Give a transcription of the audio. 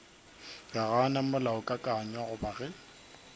ka gana molaokakanywa goba ge